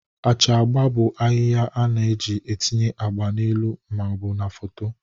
Acha agba bụ ahịhịa a na-eji etinye agba n'elu ma ọ bụ na foto.